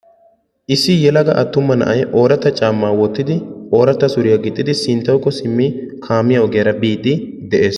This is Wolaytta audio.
Issi yelagaa attuma na'ay oraatta caammaa woottidi oraatta suuriyaa giixxidi sinttawuko siimmi kaamiyaa ogiyaara biidi de'ees.